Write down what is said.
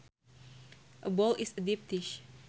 A bowl is a deep dish